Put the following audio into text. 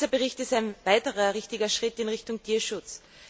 Dieser Bericht ist ein weiterer richtiger Schritt in Richtung Tierschutz.